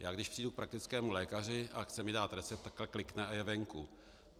Já když přijdu k praktickému lékaři a chce mi dát recept, takhle klikne a je venku.